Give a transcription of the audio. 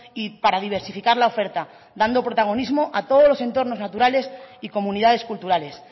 y para diversificar la oferta dando protagonismo a todos los entornos naturales y comunidades culturales